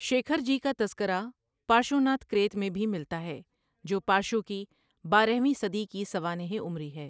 شیکھر جی کا تذکرہ "پارشواناتھ کریت" میں بھی ملتا ہے، جو پارشوا کی بارہویں صدی کی سوانح عمری ہے۔